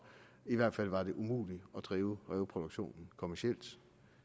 i hvert fald var det umuligt at drive ræveproduktionen kommercielt